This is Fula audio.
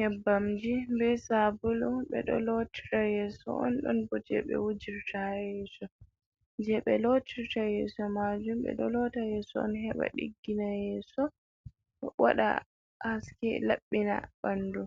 Yebbamji be sabulu, ɓe do lotira yeso on. Ɗon bo je ɓe wujirta yeso, je ɓe lotirta yeso majum. Ɓe do lotira yeso on heɓa diggina, yeso waɗa haske labbina ɓandu